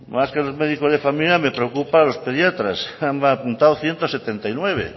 más que los médicos de familia me preocupan los pediatras se han apuntado ciento setenta y nueve